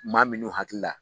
Maa minnu hakilila.